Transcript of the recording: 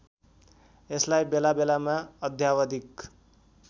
यसलाई बेलाबेलामा अद्यावधिक